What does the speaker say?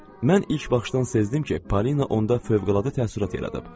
Mən ilk baxışdan sezdim ki, Polina onda fövqəladə təəssürat yaradıb.